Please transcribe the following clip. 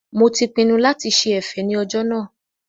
Mo ti pinnu lati ṣe ẹ̀fẹ̀ ní ọjọ́ náà